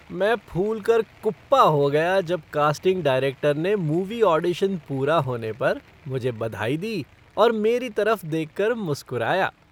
मैं फूलकर कुप्पा हो गया जब कास्टिंग डायरेक्टर ने मूवी ऑडिशन पूरा होने पर मुझे बधाई दी और मेरी तरफ देखकर मुस्कुराया।